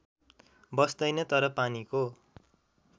बस्दैन तर पानीको